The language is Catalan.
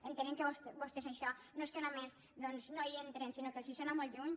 entenem que vostès en això no és que només no hi entren sinó que els sona molt lluny